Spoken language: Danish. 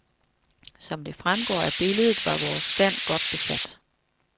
Som det fremgår af billedet var vores stand godt besat.